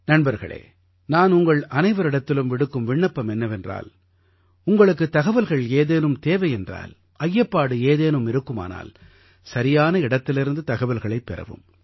நண்பர்களே நான் உங்கள் அனைவரிடத்திலும் விடுக்கும் விண்ணப்பம் என்னவென்றால் உங்களுக்குத் தகவல்கள் ஏதேனும் தேவை என்றால் ஐயப்பாடு ஏதேனும் இருக்குமானால் சரியான இடத்திலிருந்து தகவல்களைப் பெறவும்